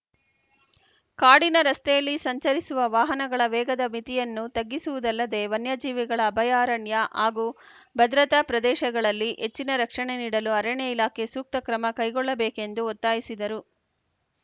ಕಾಡಿನ ರಸ್ತೆಯಲ್ಲಿ ಸಂಚರಿಸುವ ವಾಹನಗಳ ವೇಗದ ಮಿತಿಯನ್ನು ತಗ್ಗಿಸಿವುದಲ್ಲದೆ ವನ್ಯ ಜೀವಿಗಳ ಅಭಯಾರಣ್ಯ ಹಾಗೂ ಭದ್ರತ ಪ್ರದೇಶಗಳಲ್ಲಿ ಹೆಚ್ಚಿನ ರಕ್ಷಣೆ ನೀಡಲು ಅರಣ್ಯ ಇಲಾಖೆ ಸೂಕ್ತ ಕ್ರಮ ಕೈಗೊಳ್ಳಬೇಕೆಂದು ಒತ್ತಾಯಿಸಿದರು